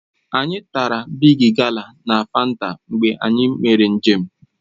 Anyị tara bịgị gala na Fanta mgbe anyị mere njem